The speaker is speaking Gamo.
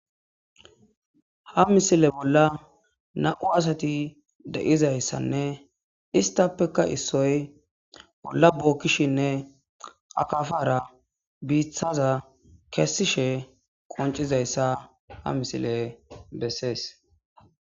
Ha misile bolla na7u asati de7izayssanne istappeka issoy bolla bookkishinne akafara biithaza kessishe qoncizayssa ha misile bessees.